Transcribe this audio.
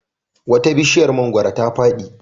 Wata bishiyar mangwaro ta fadi.